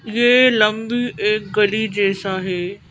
यह लंबी एक कली जैसा है।